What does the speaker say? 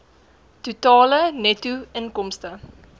totale netto inkomste